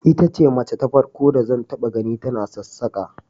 Ita ce mace ta farko da zan taba gani ta sassaka